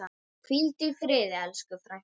Hvíldu í friði, elsku frænka.